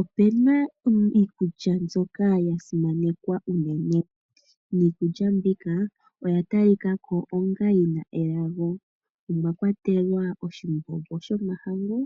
Opuna iikulya mbyoka yasimanekwa unene pashiwambo, niikulya mbika oya talika ko yi na elago omwakwatelwa nee oshimbombo shomahangu,